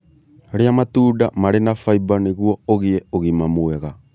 Rĩa matunda marĩ na faiba nĩguo ũgĩe ũgima mwega